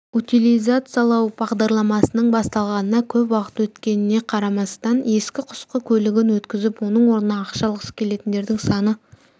утилизациялау бағдарламасының басталғанына көп уақыт өткеніне қарамастан ескі-құсқы көлігін өткізіп оның орнына ақша алғысы келетіндердің саны